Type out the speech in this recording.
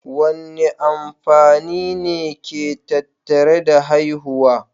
Wane amfani ne ke tattare da haihuwa?